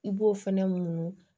I b'o fɛnɛ munu